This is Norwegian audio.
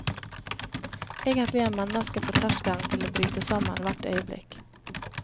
Egentlig er mennesket på terskelen til å bryte sammen hvert øyeblikk.